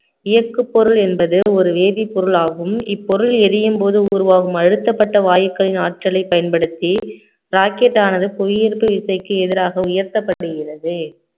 இயக்கு பொருள் என்பது ஒரு வேதிப்பொருள் ஆகும் இப்பொருள் எரியும் போது உருவாகும் அழுத்தப்பட்ட வாயுக்களின் ஆற்றலை பயன்படுத்தி rocket ஆனது புவியீர்ப்பு விசைக்கு எதிராக உயர்த்தப்பட்டிருக்கிறது